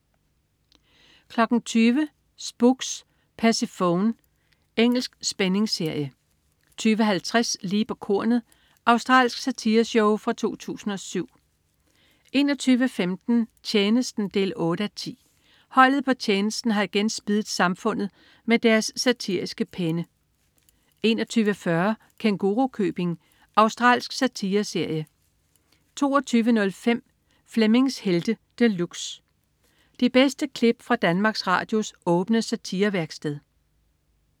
20.00 Spooks: Persefone. Engelsk spændingsserie 20.50 Lige på kornet. Australsk satireshow fra 2007 21.15 Tjenesten 8:10. Holdet på Tjenesten har igen spiddet samfundet med deres satiriske penne 21.40 Kængurukøbing. Australsk satireserie 22.05 Flemmings Helte De Luxe. De bedste klip fra Danmarks Radios åbne satirevæksted